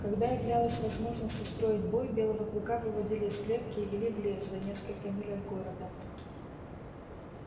когда являлась возможность устроить бой белого клыка выводили из клетки и вели в лес за несколько миль от города